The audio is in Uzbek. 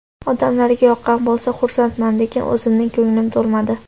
Odamlarga yoqqan bo‘lsa, xursandman, lekin o‘zimning ko‘nglim to‘lmadi.